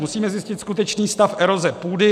Musíme zjistit skutečný stav eroze půdy.